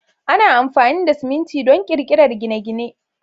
Ana amfani da siminti don ƙirƙirar gine-gine.